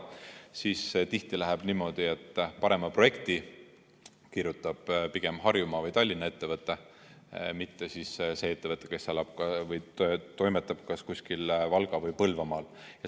Tihti läheb niimoodi, et parema projekti kirjutab pigem Harjumaa või Tallinna ettevõte, mitte see ettevõte, kes toimetab kuskil Valga‑ või Põlvamaal.